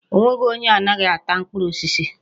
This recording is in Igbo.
O nweghị onye anaghị ata mkpụrụ osisi.